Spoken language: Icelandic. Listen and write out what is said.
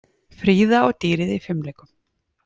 Fríða og dýrið í fimleikum